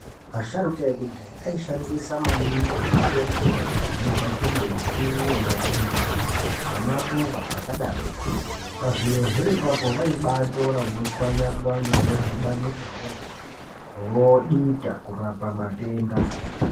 Asharuka ekudhaya aishandisa maningi mitombo yaibva kumbuti, mashizha nemaruva zvakadarokwo Pazvirozvo ipapo waibatora wotswanya-tswanya wodhibanisa nemvura wodita kurapa matenda.